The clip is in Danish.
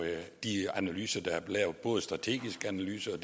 de analyser der er lavet både strategiske analyser